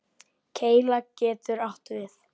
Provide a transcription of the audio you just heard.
Keila getur átt við